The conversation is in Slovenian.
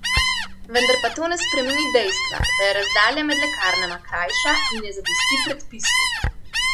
Vendar pa to ne spremeni dejstva, da je razdalja med lekarnama krajša in ne zadosti predpisu.